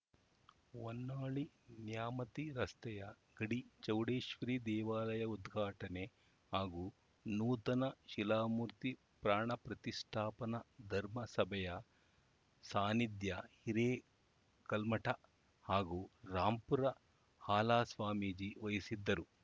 ಹೊನ್ನಾಳಿನ್ಯಾಮತಿ ರಸ್ತೆಯ ಗಡಿ ಚೌಡೇಶ್ವರಿ ದೇವಾಲಯ ಉದ್ಘಾಟನೆ ಹಾಗೂ ನೂತನ ಶಿಲಾಮೂರ್ತಿ ಪ್ರಾಣಪ್ರತಿಷ್ಠಾಪನಾ ಧರ್ಮಸಭೆಯ ಸಾನಿಧ್ಯಹಿರೇಕಲ್ಮಠ ಹಾಗೂ ರಾಂಪುರ ಹಾಲಸ್ವಾಮೀಜಿ ವಹಿಸಿದ್ದರು